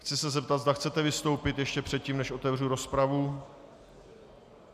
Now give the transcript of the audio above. Chci se zeptat, zda chcete vystoupit ještě předtím, než otevřu rozpravu.